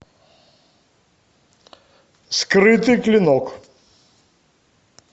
скрытый клинок